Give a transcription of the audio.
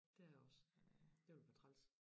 Det er jeg også det ville være træls